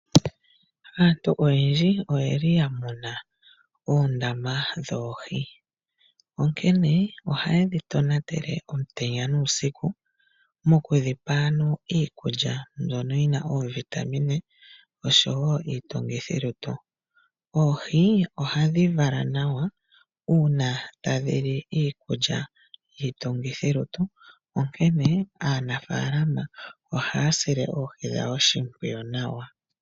Aantu oyendji oya muna oondama dhoohi, onkene ohaye dhi tonatele omutenya nuusiku mokudhi pa iikulya mbyono yi na oovitamine nosho wo iitungithilutu. Oohi ohadhi vala nawa uuna tadhi li iikulya yi na yiitungithilutu, onkene aanafaalama ohaya sile oohi dhawo oshimpwiyu nawa.